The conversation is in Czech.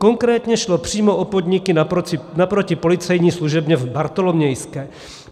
Konkrétně šlo přímo o podniky naproti policejní služebně v Bartolomějské.